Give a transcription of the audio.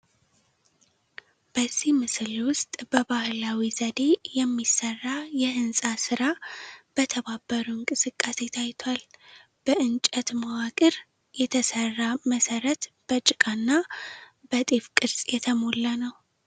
በዚህ ምስል ውስጥ በባህላዊ ዘዴ የሚሰራ የህንፃ ሥራ በተባበሩ እንቅስቃሴ ታይቷል። በእንጨት መዋቅር የተሠራ መሠረት በጭቃና በጤፍ ቅርጽ እየተሞላ ነው።